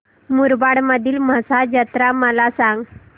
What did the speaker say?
मुरबाड मधील म्हसा जत्रा मला सांग